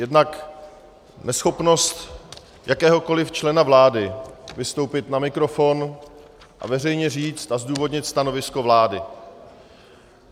Jednak neschopnost jakéhokoli člena vlády vystoupit na mikrofon a veřejně říct a zdůvodnit stanovisko vlády.